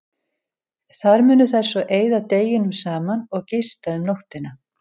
Þar munu þær svo eyða deginum saman og gista um nóttina.